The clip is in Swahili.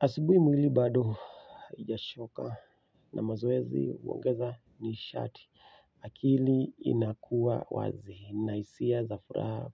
Asubuhi mwili bado hijachoka na mazoezi huongeza nishati akili inakuwa wazi. Na hisia za furaha